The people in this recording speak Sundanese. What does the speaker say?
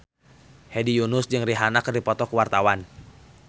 Hedi Yunus jeung Rihanna keur dipoto ku wartawan